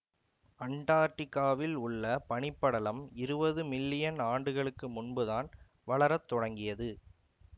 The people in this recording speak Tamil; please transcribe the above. அண்டார்டிகாவில் உள்ள பனிப்படலம் இருவது மில்லியன் ஆண்டுகளுக்கு முன்புதான் வளர தொடங்கியது